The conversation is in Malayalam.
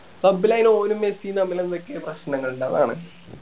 club ല് അയിന് ഓനും മെസ്സിയും തമ്മില് എന്തൊക്കെയോ പ്രശ്നങ്ങൾ ഇണ്ട് അതാണ്